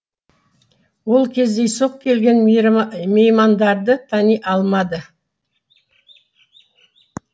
ол кездейсоқ келген меймандарды тани алмады